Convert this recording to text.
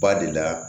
Ba de la